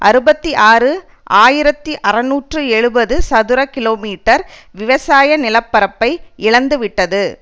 அறுபத்தி ஆறு ஆயிரத்தி அறுநூற்று எழுபது சதுர கிலோமீட்டர் விவசாய நிலப்பரப்பை இழந்துவிட்டது